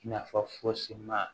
Nafa fosi ma